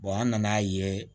an nana ye